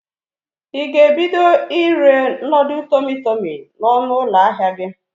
Ị ga-ebido ire nodul tọmị tọmị n'ọnụ ụlọ ahịa gi?